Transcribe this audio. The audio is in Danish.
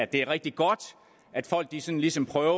det er rigtig godt at folk ligesom ligesom prøver